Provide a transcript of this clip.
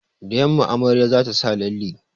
Da yamma amaryar za ta sa lalle